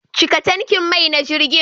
Cika tankin mai na jirgin.